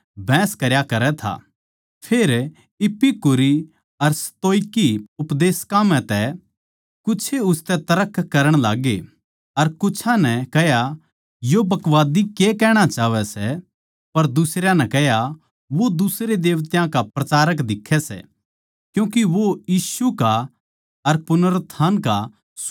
फेर इपिकूरी अर स्तोईकी उपदेशकां म्ह तै कुछे उसतै तर्क करण लाग्गे अर कुछां नै कह्या यो बकवादी के कहणा चाहवै सै पर दुसरयां नै कह्या वो दुसरे देवतायां का प्रचारक दिक्खै सै क्यूँके वो यीशु का अर पुनरुत्थान का सुसमाचार सुणावै था